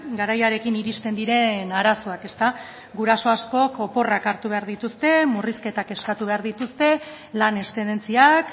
garaiarekin iristen diren arazoak ezta guraso askok oporrak hartu behar dituzte murrizketak eskatu behar dituzte lan eszedentziak